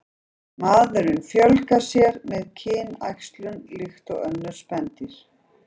Maðurinn fjölgar sér með kynæxlun líkt og önnur spendýr.